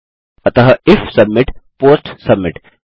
अतः if submit post submit